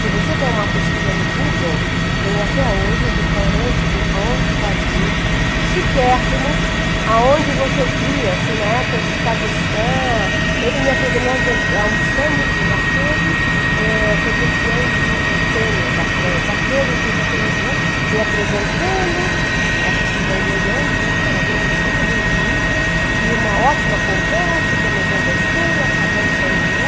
Se você der uma pesquisa no Google, tem até hoje o restaurante do Entralier, chiquérrimo, aonde você via, assim, na época, Giscard d'Estaing, ele me apresentando, nós almoçando, ele dizendo, eh, aquele foi campeão de tênis da França, aquele, conhecia todo mundo de hoje, me apresentando, eu acho que se vangloriando, né, porque era bem mocinha, bem bonita, e uma ótima conversa, eu também conversei, acabamos, saímos de lá,